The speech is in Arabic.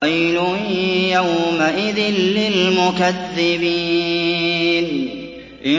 وَيْلٌ يَوْمَئِذٍ لِّلْمُكَذِّبِينَ